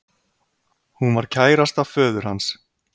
Hún var kærasta föður hans